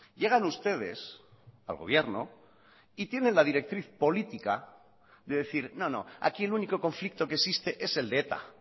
llegan ustedes al gobierno y tienen la directriz política de decir no no aquí el único conflicto que existe es el de eta